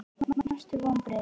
Mestu vonbrigði?